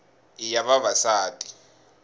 i ya vavasati